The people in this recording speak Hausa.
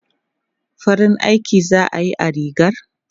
Farin aiki za a yi a rigar?